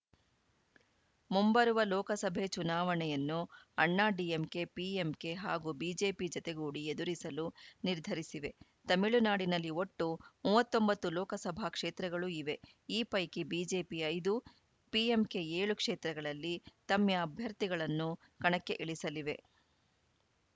ಮುಂಬರುವ ಲೋಕಸಭೆ ಚುನಾವಣೆಯನ್ನು ಅಣ್ಣಾಡಿಎಂಕೆ ಪಿಎಂಕೆ ಹಾಗೂ ಬಿಜೆಪಿ ಜತೆಗೂಡಿ ಎದುರಿಸಲು ನಿರ್ಧರಿಸಿವೆ ತಮಿಳುನಾಡಿನಲ್ಲಿ ಒಟ್ಟು ಮೂವತ್ತ್ ಒಂಬತ್ತು ಲೋಕಸಭಾ ಕ್ಷೇತ್ರಗಳು ಇವೆ ಈ ಪೈಕಿ ಬಿಜೆಪಿ ಐದು ಪಿಎಂಕೆ ಏಳು ಕ್ಷೇತ್ರಗಳಲ್ಲಿ ತಮ್ಮ ಅಭ್ಯರ್ಥಿಗಳನ್ನು ಕಣಕ್ಕೆ ಇಳಿಸಲಿವೆ